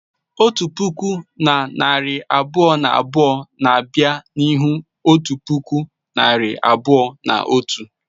Otu puku na narị abụọ na abụọ na abịa n'ihu otu puku na narị abụọ na otu.